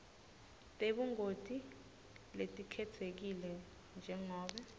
tebungoti letikhetsekile njengobe